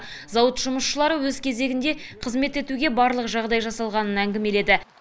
зауыт жұмысшылары өз кезегінде қызмет етуге барлық жағдай жасалғанын әңгімеледі